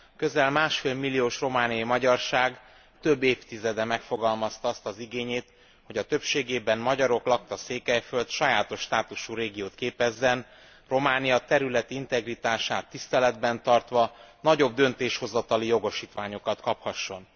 A közel másfél milliós romániai magyarság több évtizede megfogalmazta azt az igényét, hogy a többségében magyarok lakta Székelyföld sajátos státuszú régiót képezzen, Románia területi integritását tiszteletben tartva nagyobb döntéshozatali jogosítványokat kaphasson.